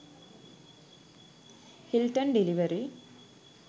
hilton delivery